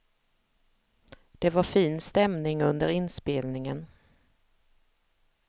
Det var fin stämning under inspelningen.